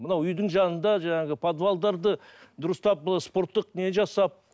мынау үйдің жанында жаңағы подвалдарды дұрыстап спорттық не жасап